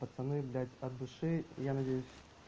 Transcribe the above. пацаны блять от души я надеюсь